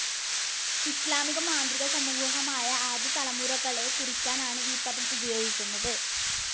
ഇസ്ലാമിലെ മാന്ത്രികസമൂഹമായ ആദ്യ തലമുറകളെ കുറിക്കാനാണ് ഈ പദം ഉപയോഗിക്കുന്നത്.